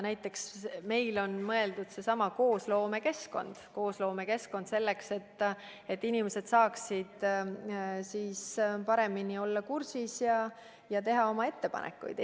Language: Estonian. Näiteks on meil mõeldud luua seesama koosloome keskkond, selleks et inimesed saaksid olla paremini kursis ja teha oma ettepanekuid.